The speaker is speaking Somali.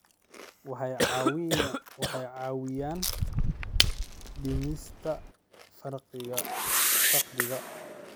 Waxay caawiyaan dhimista faqriga.